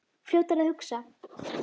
Fljótur að hugsa.